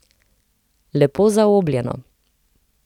Lepo zaobljeno.